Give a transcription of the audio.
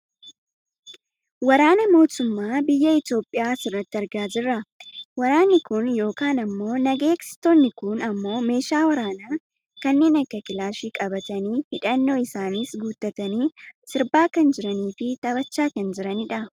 Waraana mootummaa biyya Itoopiyaa asirratti argaa jirra. Waraanni kun yookaan ammoo naga eegsistoonni kun ammoo meeshaa waraanaa kanneen akka kilaashii qabatanii, hidhannoo isaaniis guuttatanii , sirbaa kan jiraniifi taphachaa jiranidha.